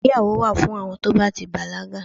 ìgbéyàwò wa fún àwọn to ba ti bàlágà